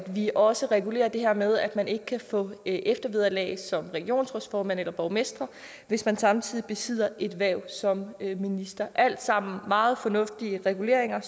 vi også regulerer det her med at man ikke kan få eftervederlag som regionsrådsformand eller borgmester hvis man samtidig besidder et hverv som minister er alt sammen meget fornuftige reguleringer